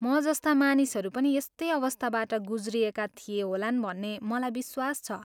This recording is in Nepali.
म जस्ता मानिसहरू पनि यस्तै अवस्थाबाट गुज्रिएका थिए होलान् भन्ने मलाई विश्वास छ।